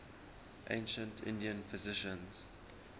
ancient indian physicians